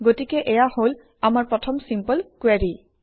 গতিকে এয়া হল আমাৰ প্ৰথম চিম্পল কুৱেৰি